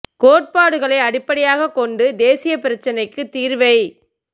கோட்பாடுகளை அடிப்படையாக கொண்டு தேசிய பிரச்சினைக்கு தீர்வைக்